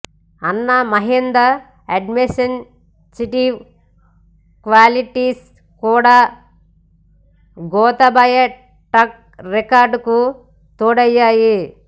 అన్న Mahinda administrative qualities కూడా Gotabaya track record కు తోడయ్యాయి